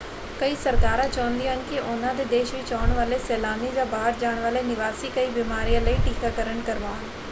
ਕਈ ਸਰਕਾਰਾਂ ਚਾਹੁੰਦੀਆਂ ਹਨ ਕਿ ਉਹਨਾਂ ਦੇ ਦੇਸ਼ ਵਿੱਚ ਆਉਣ ਵਾਲੇ ਸੈਲਾਨੀ ਜਾਂ ਬਾਹਰ ਜਾਣ ਵਾਲੇ ਨਿਵਾਸੀ ਕਈ ਬਿਮਾਰੀਆਂ ਲਈ ਟੀਕਾਕਰਣ ਕਰਵਾਉਣ।